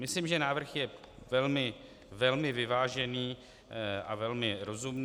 Myslím, že návrh je velmi vyvážený a velmi rozumný.